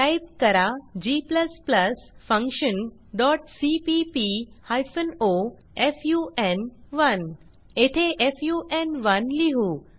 type करा g function dot CPP hyphen o फुन1 येथे फुन1 लिहू